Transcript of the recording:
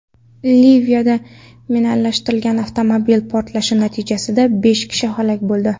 Liviyada minalashtirilgan avtomobil portlashi natijasida besh kishi halok bo‘ldi.